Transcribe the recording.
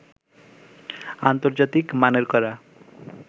আন্তর্জাতিক মানের করা